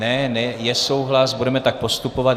Ne, je souhlas, budeme tak postupovat.